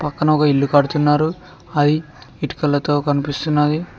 ఆడ ఒక ఇల్లు కడుతున్నారు అది ఇటుకలతో కనిపిస్తున్నది.